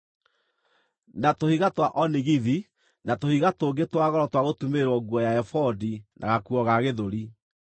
na tũhiga twa onigithi na tũhiga tũngĩ twa goro twa gũtumĩrĩrwo nguo ya ebodi na gakuo ga gĩthũri.